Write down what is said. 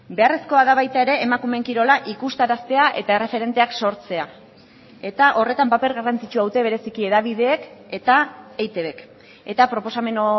beharrezkoa da baita ere emakumeen kirola ikustaraztea eta erreferenteak sortzea eta horretan paper garrantzitsua dute bereziki hedabideek eta eitbk eta proposamen